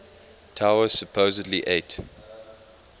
tower supposedly ate